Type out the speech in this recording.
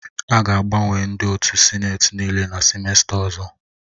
A ga-agbanwe ndị otu sineti nịịle na sịmesta ọzọ